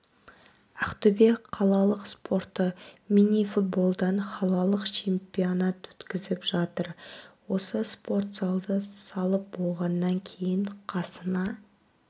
ақтөбе қалалық спорты минифутболдан қалалық чемпионат өткізіп жатыр осы спорт залды салып болғаннан кейін қасына